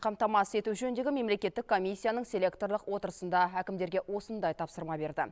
қамтамасыз ету жөніндегі мемлекеттің комиссияның селекторлық отырысында әкімдерге осындай тапсырма берді